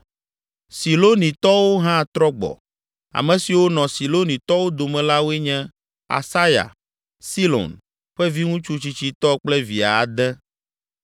Silonitɔwo hã trɔ gbɔ. Ame siwo nɔ Silonitɔwo dome la woe nye: Asaya, Silon ƒe viŋutsu tsitsitɔ kple via ade